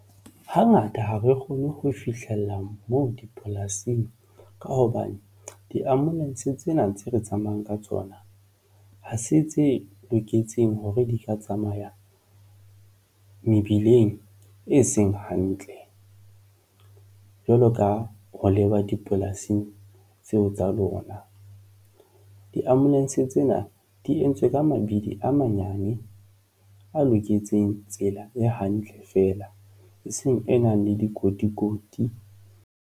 Hangata ha re kgone ho fihlella moo dipolasing ka hobane di-ambulance tsena tse re tsamayang ka tsona ha se tse loketseng hore di ka tsamaya mebileng e seng hantle jwalo ka ho leba dipolasing tseo tsa lona. Di-ambulance tsena di entswe ka mabidi a manyane a loketseng tsela e hantle feela eseng e nang le dikotikoti.